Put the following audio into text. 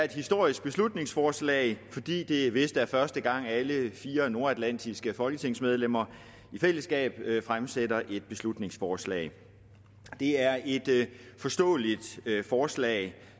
et historisk beslutningsforslag fordi det vist er første gang alle fire nordatlantiske folketingsmedlemmer i fællesskab fremsætter et beslutningsforslag det er et forståeligt forslag